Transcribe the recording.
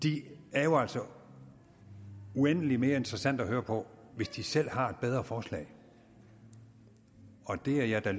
er jo altså uendelig mere interessante at høre på hvis de selv har et bedre forslag og det er jeg da